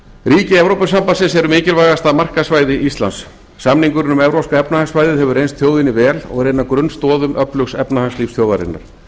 ríki evrópusambandsins eru mikilvægasta markaðssvæði íslands samningurinn um evrópska efnahagssvæðið hefur reynst þjóðinni vel og er ein af grunnstoðum öflugs efnahagslífs þjóðarinnar